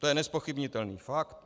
To je nezpochybnitelný fakt.